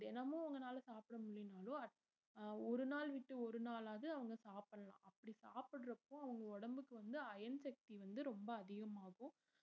தினமும் உங்கனால சாப்பிட முடியலைன்னாலும் at~ ஒரு நாள் விட்டு ஒரு நாளாவது அவங்க சாப்பிடலாம் அப்படி சாப்பிடுறப்போ அவங்க உடம்புக்கு வந்து iron சக்தி வந்து ரொம்ப அதிகமாகும்